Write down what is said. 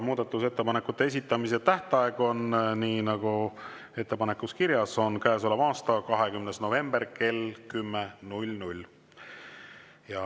Muudatusettepanekute esitamise tähtaeg on, nii nagu ettepanekus kirjas on, käesoleva aasta 20. november kell 10.